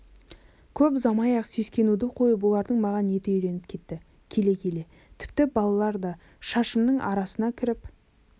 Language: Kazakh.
көп ұзамай-ақ сескенуді қойып олардың маған еті үйреніп кетті келе-келе тіпті балалар да шашымның арасына кіріп